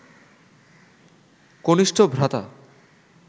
কনিষ্ঠ ভ্রাতা